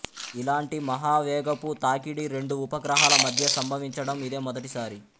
ఇలాంటి మహావేగపు తాకిడి రెండు ఉపగ్రహాల మధ్య సంభవించడం ఇదే మొదటిసారి